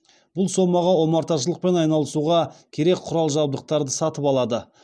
бұл сомаға омарташылықпен айналысуға керек құрал жабдықтарды сатып алады